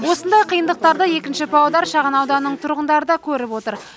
осындай қиындықтарды екінші павлодар шағын ауданының тұрғындары да көріп отыр